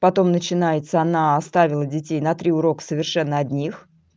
потом начинается она оставила детей на три урока совершенно одних